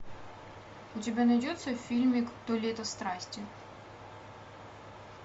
у тебя найдется фильмик то лето страсти